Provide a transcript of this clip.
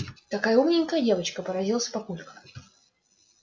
какая умненькая девочка поразился папулька